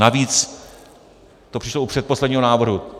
Navíc to přišlo u předposledního návrhu.